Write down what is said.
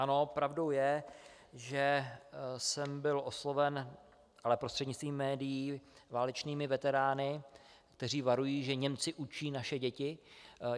Ano, pravdou je, že jsem byl osloven, ale prostřednictvím médií, válečnými veterány, kteří varují, že Němci učí naše děti.